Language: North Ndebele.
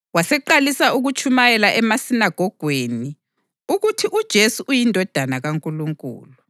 Waseqalisa ukutshumayela emasinagogweni ukuthi uJesu uyiNdodana kaNkulunkulu.